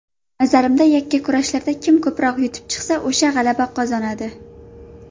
Nazarimda, yakkakurashlarda kim ko‘proq yutib chiqsa, o‘sha g‘alaba qozonadi.